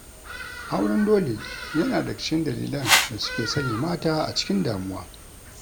Auren dole yana daga cikin dalilian da suke sanya mata a cikin damuwa